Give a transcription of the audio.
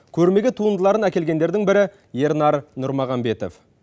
көрмеге туындыларын әкелгендердің бірі ернар нұрмағанбетов